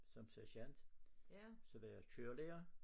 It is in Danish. Som sergant så var jeg kørerlærer